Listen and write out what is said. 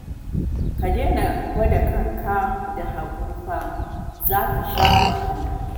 Ka daina gwada kanka da Habu fa, za ka sha wahala